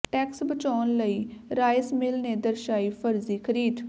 tax ਬਚਾਉਣ ਲਈ rice mill ਨੇ ਦਰਸਾਈ ਫ਼ਰਜ਼ੀ ਖਰੀਦ